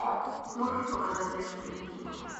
можешь показать дерзкие лихие